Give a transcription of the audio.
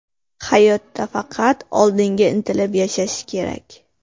Hayotda faqat oldinga intilib yashash kerak.